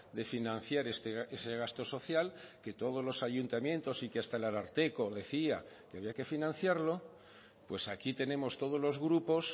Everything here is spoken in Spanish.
de financiar ese gasto social que todos los ayuntamientos y que hasta el ararteko decía que había que financiarlo pues aquí tenemos todos los grupos